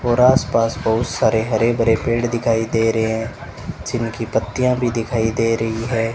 और आसपास बहुत सारे हरे भरे पेड़ दिखाई दे रहे हैं जिनकी पत्तियां भी दिखाई दे रही है।